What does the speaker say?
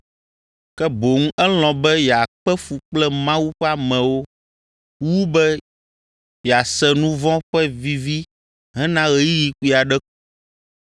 ke boŋ elɔ̃ be yeakpe fu kple Mawu ƒe amewo wu be yease nu vɔ̃ ƒe vivi hena ɣeyiɣi kpui aɖe ko.